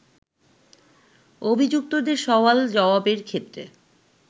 অভিযুক্তদের সওয়াল জওয়াবের ক্ষেত্রে